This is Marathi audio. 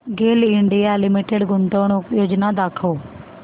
गेल इंडिया लिमिटेड गुंतवणूक योजना दाखव